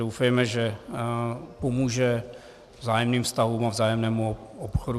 Doufejme, že pomůže vzájemným vztahům a vzájemnému obchodu.